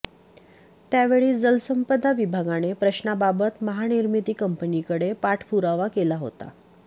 त्या वेळी जलसंपदा विभागाने प्रश्नाबाबत महानिर्मिती कंपनीकडे पाठपुरावा केला होता